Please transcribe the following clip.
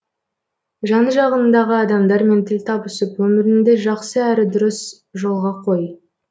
жан жағыңдағы адамдармен тіл табысып өміріңді жақсы әрі дұрыс жолға қой